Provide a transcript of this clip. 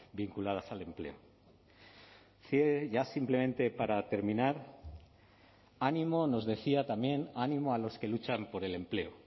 vinculadas al empleo ya simplemente para terminar ánimo nos decía también ánimo a los que luchan por el empleo